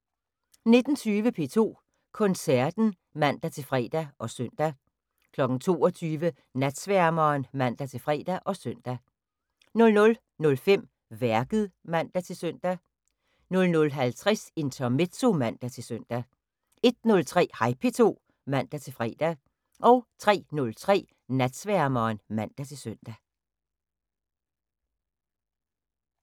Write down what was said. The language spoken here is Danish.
19:20: P2 Koncerten (man-fre og søn) 22:00: Natsværmeren (man-fre og søn) 00:05: Værket (man-søn) 00:50: Intermezzo (man-søn) 01:03: Hej P2 (man-fre) 03:03: Natsværmeren (man-søn)